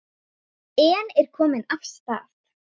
Í dyrunum stóð móðir hans.